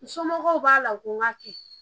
N somɔgɔw b'a la ko n k'a kɛ